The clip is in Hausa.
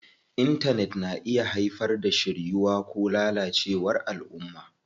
Intanet na iya haifar da shiryuwa ko lalacewar alʼumma.